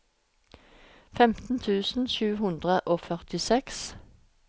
femten tusen sju hundre og førtiseks